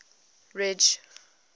ridge